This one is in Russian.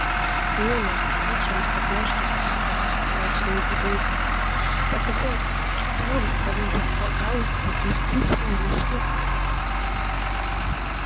мне между прочим однажды посыпался справочник грибника так вот там об этих поганках действительно ни слова